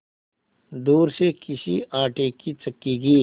दूर से किसी आटे की चक्की की